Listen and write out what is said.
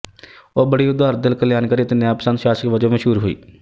ਉਹ ਬੜੀ ਉਦਾਰ ਦਿਲ ਕਲਿਆਣਕਾਰੀ ਤੇ ਨਿਆਂ ਪਸੰਦ ਸ਼ਾਸਕ ਵਜੋਂ ਮਸ਼ਹੂਰ ਹੋਈ